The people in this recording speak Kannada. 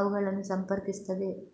ಅವುಗಳನ್ನು ಸಂಪರ್ಕಿಸುತ್ತದೆ